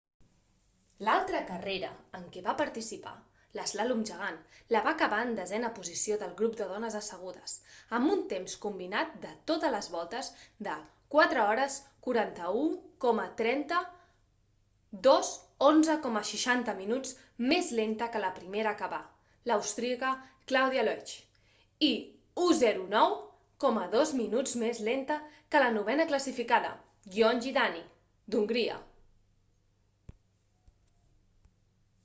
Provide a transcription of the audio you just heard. l'altra carrera en què va participar l'eslàlom gegant la va acabar en desena posició del grup de dones assegudes amb un temps combinat de totes les voltes de 4:41,30; 2:11,60 minuts més lenta que la primera a acabar l'austríaca claudia loesch i 1:09,02 minuts més lenta que la novena classificada gyöngyi dani d'hongria